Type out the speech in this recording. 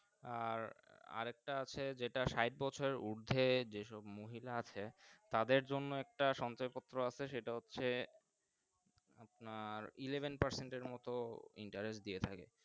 আর আর একটা আছে যেটা স্যাট বছরেরউর্ধে যে সব মহিলা আছে তাদের মর্ধে একটা সঞ্চয় পত্র আছে সেটা হচ্ছে আপনার elevent percent এর মতো Interest দিয়ে দেয় থাকে।